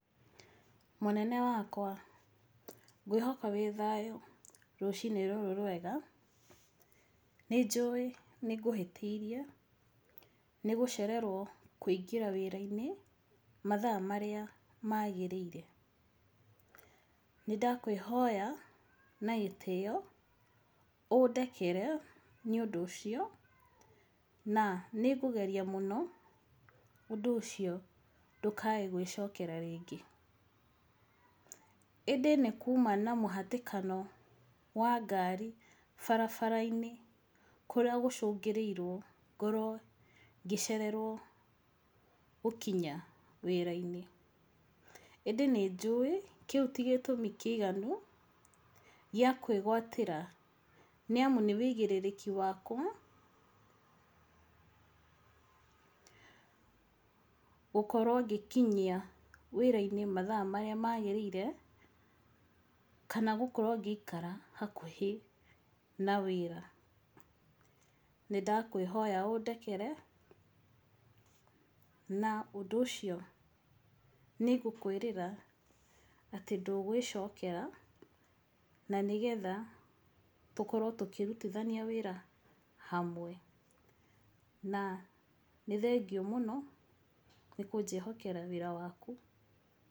Mũnene wakwa, ngwĩhoka wĩ thayũ rũcinĩ rũrũ rwega. Nĩ njũĩ nĩ ngũhĩtĩirie, nĩ gũcererwo kũingĩra wĩra-inĩ mathaa marĩa maagĩrĩire. Nĩ ndakwĩhoya na gĩtĩo ũndekere nĩ ũndũ ũcio na nĩngũgeria mũno ũndũ ũcio, na nĩngũgeria mũno ũndũ ũcio ndũkae gwĩcokera rĩngĩ. Ĩndĩ nĩ kuma na mũhatĩkano wa ngari barabara-inĩ kũrĩa gũcũngĩrĩirwo ngorwo ngĩcererwo gũkinya wĩra-inĩ. Ĩndĩ nĩ njũĩ kĩu ti gĩtũmi kĩiganu gĩa kwĩgwatĩra, nĩ amu nĩ ũigĩrĩrĩki wakwa gũkorwo ngĩkinya wĩra-inĩ mathaa marĩa maagĩrĩire kana gũkorwo ngĩikara hakuhĩ na wĩra. Nĩ ndakwĩhoya ũndekere na ũndũ ũcio nĩ ngũkwĩrĩra atĩ ndũgwĩcokera, na nĩgetha tũkorwo tũkĩrutithania wĩra hamwe. Na nĩ thengiũ mũno nĩ kũnjĩhokera wĩra waku.